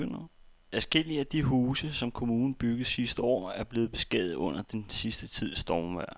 Adskillige af de huse, som kommunen byggede sidste år, er blevet beskadiget under den sidste tids stormvejr.